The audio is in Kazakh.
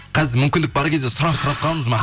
қазір мүмкін бар кезде сұрап сұрап қалыңыз